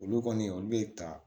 Olu kɔni olu bɛ ta